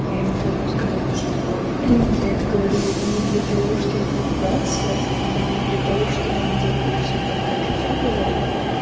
я ему потому сказала что я это говорю не для того чтобы поругаться и не для того чтобы мы делали все так как я говорю